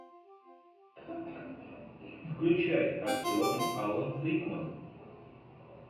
включай актер алан рикман